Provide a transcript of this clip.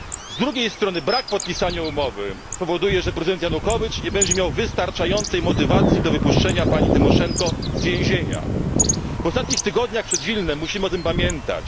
Z drugiej strony, brak podpisania umowy spowoduje, że prezydent Janukowicz nie będzie miał wystarczającej motywacji do wypuszczenia pani Tymoszenko z więzienia. W ostatnich tygodniach przed Wilnem musimy o tym pamiętać.